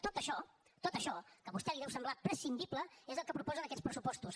tot això tot això que a vostè li deu semblar prescindible és el que proposen aquests pressupostos